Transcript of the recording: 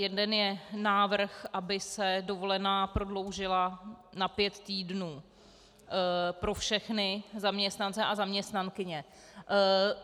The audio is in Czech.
Jeden je návrh, aby se dovolená prodloužila na pět týdnů pro všechny zaměstnance a zaměstnankyně.